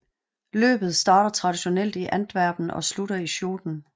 Løbet starter traditionelt i Antwerpen og slutter i Schoten